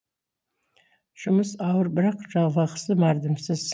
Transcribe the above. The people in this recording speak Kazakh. жұмыс ауыр бірақ жалақысы мардымсыз